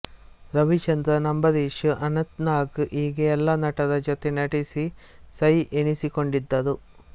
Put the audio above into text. ರವಿಚಂದ್ರನ್ ಅಂಬರೀಷ್ ಅನಂತ್ನಾಗ್ ಹೀಗೆ ಎಲ್ಲಾ ನಟರ ಜೊತೆ ನಟಿಸಿ ಸೈ ಎನಿಸಿಕೊಂಡಿದ್ದರು